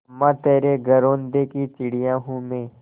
अम्मा तेरे घरौंदे की चिड़िया हूँ मैं